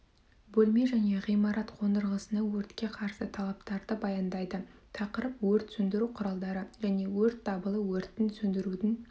бөлме және ғимарат қондырғысына өртке қарсы талаптарды баяндайды тақырып өрт сөндіру құралдары және өрт дабылы өрттің сөндірудің